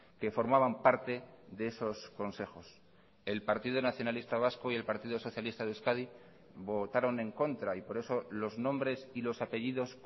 que formaban parte de esos consejos el partido nacionalista vasco y el partido socialista de euskadi votaron en contra y por eso los nombres y los apellidos